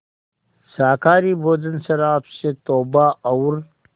शाकाहारी भोजन शराब से तौबा और